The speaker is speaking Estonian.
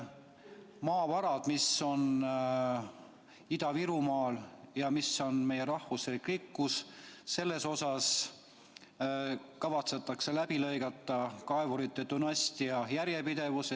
Maavarad, mis on Ida-Virumaal ja mis on meie rahvuslik rikkus, selles mõttes kavatsetakse läbi lõigata kaevurite dünastia järjepidevus.